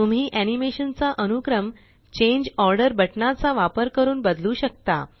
तुम्ही एनीमेशन चा अनुक्रम चांगे ऑर्डर बटनाचा वापर करून बदलू शकता